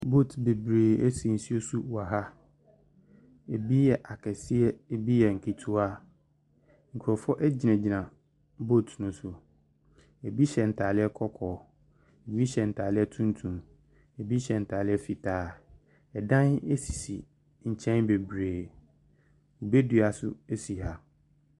Boat bebree si nsuo so wɔ ha. Ɛbi yɛ akɛseɛ, ɛbi yɛ akɛseɛ, ɛbi yɛ nketewa. Nkurɔfoɔ gyinagyina boat no so. Ɛbi hyɛ ntadeɛ kɔtɔɔ, ɛbi nya ntadeɛ tuntum, ɛbi hyɛ ntadeɛ fitaa. Ɛdan sisi nkyɛn bebree. Kube dua nso si ha.